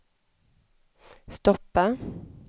stoppa